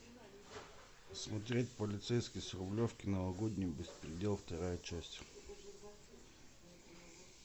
смотреть полицейский с рублевки новогодний беспредел вторая часть